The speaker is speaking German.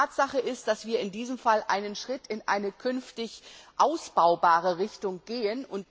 Tatsache ist, dass wir in diesem Zusammenhang dennoch einen Schritt in eine künftig ausbaubare Richtung gehen.